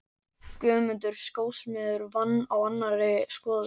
Guðmundur skósmiður var á annarri skoðun.